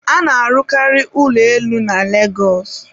a na-arụkarị ụlọ elu na Lagos